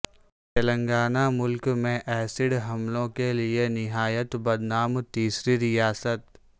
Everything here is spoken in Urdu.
تلنگانہ ملک میں ایسیڈ حملوں کیلئے نہایت بدنام تیسری ریاست